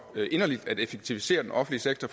inderligt at effektivisere den offentlige sektor